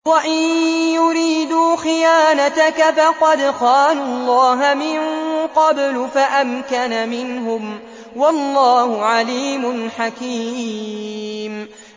وَإِن يُرِيدُوا خِيَانَتَكَ فَقَدْ خَانُوا اللَّهَ مِن قَبْلُ فَأَمْكَنَ مِنْهُمْ ۗ وَاللَّهُ عَلِيمٌ حَكِيمٌ